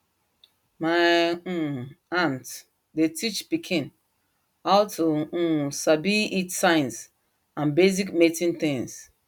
my um aunt dey teach pikin how to um sabi heat sign and basic mating things